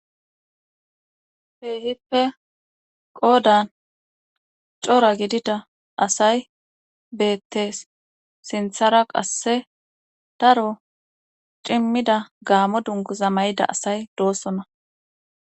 Heehippe qoodan cora gidida asay beettees sinthara qasse daro cimmida gaamo dunkuza may7ida asay doossona.